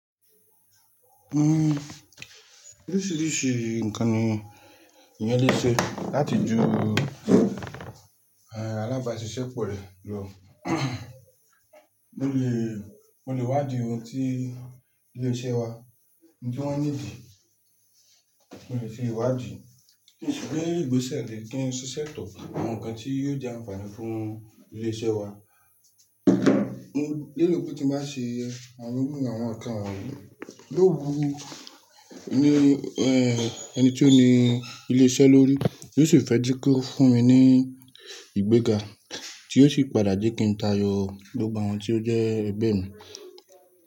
Oríṣiríṣi ǹkan ni eyán lé ṣe láti ju alágbàse ìṣe pọ̀ rẹ lọ. O lè wá di ohun tí ilé iṣẹ́ wa ní kí wọ́n nídìí, mo lè fi ìwádìí pé ìgbésẹ̀ le kí n ṣiṣẹ́ tọ àwọn ǹkan tí yóò jẹ́ ànfààní fún ilé iṣẹ́ wa. Nílo pe tí máa ṣe, àwọn irú àwọn ọ̀kan yó wú ní ẹni tí ó ní ilé iṣẹ́ lórí yóò sì fẹ́ dí kí ó fún mi ní ìgbéga tí yóò sì padà je kí n táayọ gbogbo àwọn tí ó jẹ́ ẹgbẹ́ mi.